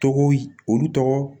Tɔgɔw olu tɔgɔ